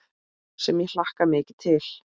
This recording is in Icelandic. Sem ég hlakka mikið til.